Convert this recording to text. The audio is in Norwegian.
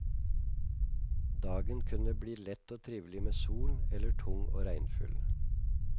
Dagen kunne bli lett og trivelig med sol, eller tung og regnfull.